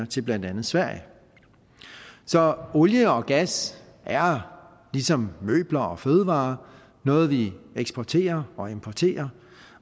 til blandt andet sverige så olie og gas er ligesom møbler og fødevarer noget vi eksporterer og importerer